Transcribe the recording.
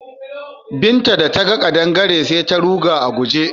Binta da ta ga ƙadangare sai ta ruga a guje.